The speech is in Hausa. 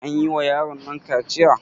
An yi wa yaronnan kaciya?